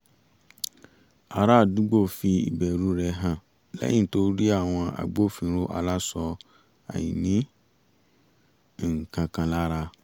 ará àdúgbò fi ìbẹ̀rù rẹ̀ hàn lẹ́yìn tó rí àwọn agbófinró aláṣọ àìní-nǹkankan lára